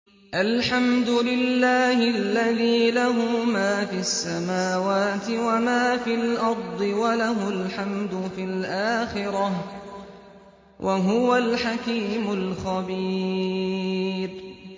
الْحَمْدُ لِلَّهِ الَّذِي لَهُ مَا فِي السَّمَاوَاتِ وَمَا فِي الْأَرْضِ وَلَهُ الْحَمْدُ فِي الْآخِرَةِ ۚ وَهُوَ الْحَكِيمُ الْخَبِيرُ